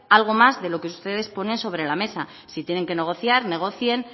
algo más de lo que ustedes ponen sobre la mesa si tienen que negociar negocien